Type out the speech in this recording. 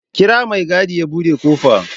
Kira mai gadi ya buɗe ƙofa